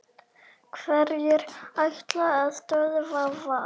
Hverjir ætla að stöðva Val?